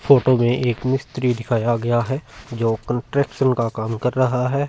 Photo में एक मिस्त्री दिखाया गया है जो कंस्ट्रक्शन का काम कर रहा है।